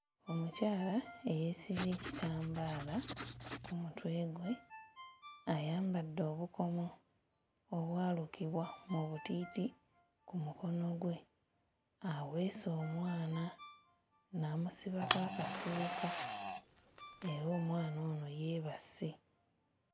Omukyala eyeesibye ekitambaala ku mutwe gwe, ayambadde obukomo obwalukibwa mu butiiti ku mukono gwe, aweese omwana n'amusibako akasuuka era omwana ono yeebase.